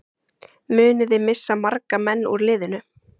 Munið þið missa marga menn úr liðinu?